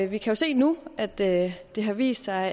vi kan se nu at det har vist sig